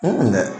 dɛ